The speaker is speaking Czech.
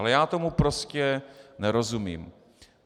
Ale já tomu prostě nerozumím.